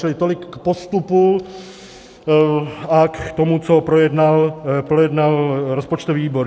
Čili tolik k postupu a k tomu, co projednal rozpočtový výbor.